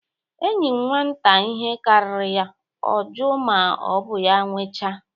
Enye nwata ihe karịrị ya, ọ juo ma ọ bụ ya nwecha.